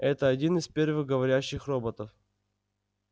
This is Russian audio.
это один из первых говорящих роботов